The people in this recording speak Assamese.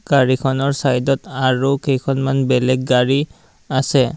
গাড়ীখনৰ চাইদত আৰু কেইখনমান বেলেগ গাড়ী আছে।